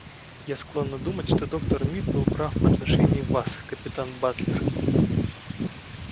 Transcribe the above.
я склонна думать что доктор мид был прав в отношении вас капитан батлер